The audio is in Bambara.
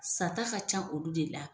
Sata ka ca olu de la.